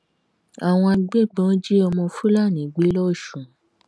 àwọn agbébọn jí ọmọ fúlàní gbé lọsùn